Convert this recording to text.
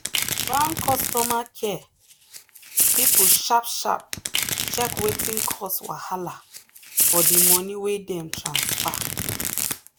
the bank customer care people sharp sharp check wetin cause wahala for the money wey dem transfer.